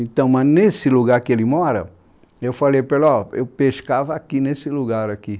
Então, mas nesse lugar que ele mora, eu falei para ele, ó, eu pescava aqui nesse lugar aqui.